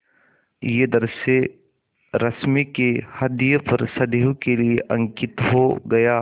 यह दृश्य रश्मि के ह्रदय पर सदैव के लिए अंकित हो गया